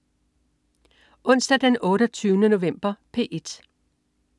Onsdag den 28. november - P1: